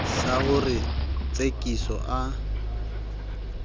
sa ho re tsekiso a